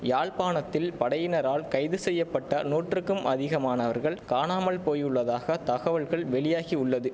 யாழ்ப்பாணத்தில் படையினரால் கைது செய்ய பட்ட நூற்றுக்கும் அதிகமானவர்கள் காணாமல் போயுள்ளதாக தகவல் வெளியாகியுள்ளது